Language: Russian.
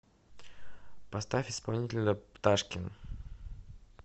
поставь исполнителя пташкин